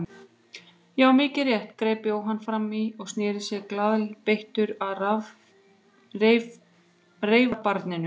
Já, mikið rétt, greip Jóhann fram í og sneri sér glaðbeittur að reifabarninu.